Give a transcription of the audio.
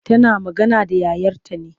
Tana magana da yayarta ne.